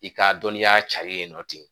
I ka dɔniya cari ye nɔ ten